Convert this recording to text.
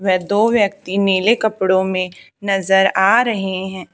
वह दो व्यक्ति नीले कपड़ो में नजर आ रहे है।